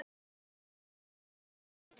Kristjón, hversu margir dagar fram að næsta fríi?